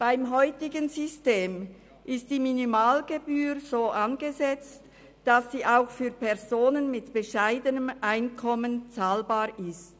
Beim heutigen System ist die Minimalgebühr so angesetzt, dass sie auch für Personen mit bescheidenem Einkommen zahlbar ist.